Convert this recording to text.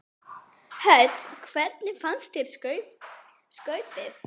Hödd: Hvernig fannst þér skaupið?